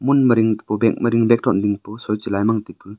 munma ding bag ding bag thon ma ding pu sui che lai mang taipu.